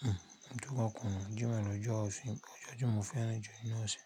hmmm, tó bá kùn Jímọ̀ ni ọjọ́ òfin, ọjọ́ tí mo fẹ́ràn jù nínú ọ̀sẹ̀